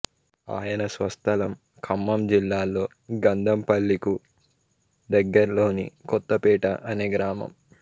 ఆయన స్వస్థలం ఖమ్మం జిల్లాలో గంధంపల్లికు దగ్గర్లోని కొత్తపేట అనే గ్రామం